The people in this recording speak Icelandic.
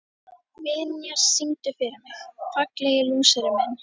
Vinjar, syngdu fyrir mig „Fallegi lúserinn minn“.